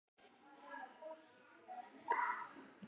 Gunnar snýr aftur.